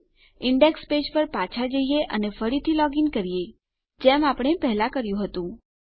આપણા index page પર પાછા જઈએ અને ફરીથી લોગ ઇન કરીએ જેમ પહેલા કર્યું હતું